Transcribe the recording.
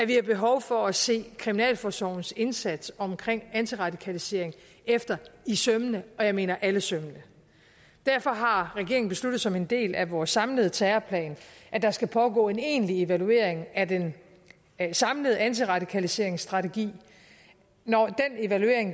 vi behov for at se kriminalforsorgens indsats omkring antiradikalisering efter i sømmene og jeg mener alle sømmene derfor har regeringen besluttet som en del af vores samlede terrorplan at der skal pågå en egentlig evaluering af den samlede antiradikaliseringsstrategi når